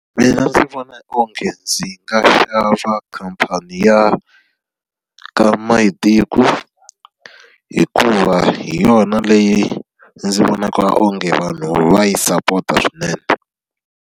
Mina ndzi vona onge ndzi nga khamphani ya ka Mayitiko hikuva hi yona leyi ndzi vonaka onge vanhu va yi sapota swinene.